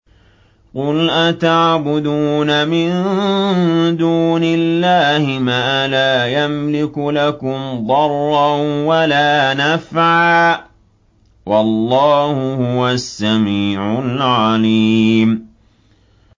قُلْ أَتَعْبُدُونَ مِن دُونِ اللَّهِ مَا لَا يَمْلِكُ لَكُمْ ضَرًّا وَلَا نَفْعًا ۚ وَاللَّهُ هُوَ السَّمِيعُ الْعَلِيمُ